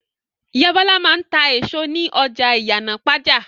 Ìyá Bọ́lá máa ń ta èso ní ọjà Ìyànàpájà.